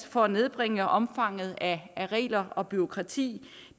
for at nedbringe omfanget af regler og bureaukrati